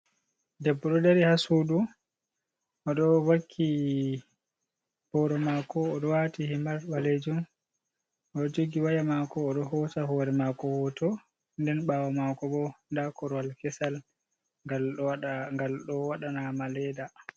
Debbo ɗo dari ha sudu o ɗo vakki boro mako, o ɗo wati himar ɓalejum, oɗo jogi waya mako o ɗo hosa hore mako hoto, nden ɓawo mako bo nda korwal kesal ngal ɗo waɗa naama leda.